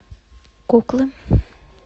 куклы